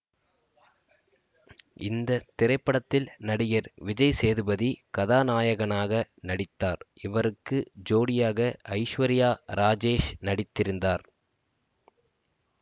இந்த திரைப்படத்தில் நடிகர் விஜய் சேதுபதி கதாநாயகனாக நடித்தார் இவருக்கு ஜோடியாக ஐஸ்வர்யா ராஜேஷ் நடித்திருந்தார்